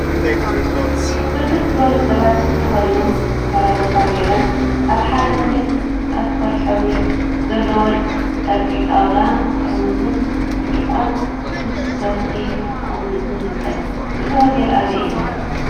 ብርክት ዝበሉ ሰባት ሱፍ ተከዲኖም ከረባታ ገይሮም አብ ሓደ ሆቴል አልኮል ሕብሪ ዘለዎ ጨርቂ ጣውላ ጥርሙዝን ብርጭቆን ምስ ሶፍቲ ተቀሚጡ ይርከብ፡፡ እዚ ሆቴል አበይ እዩ?